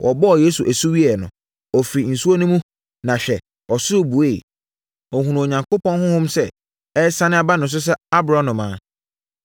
Wɔbɔɔ Yesu asu wieeɛ no, ɔfirii nsuo no mu, na hwɛ ɔsoro bueɛ. Ɔhunuu Onyankopɔn Honhom sɛ ɛresiane ba ne so sɛ aborɔnoma.